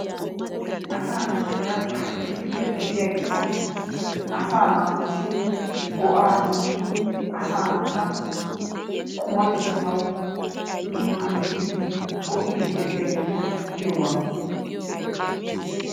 Asaa naatuura issippe de'iyageeta asaa naatussi go'aa immidi asaa naata qumatettawu maaddiiddi, go'iiddi de'iyageeta giyogaa.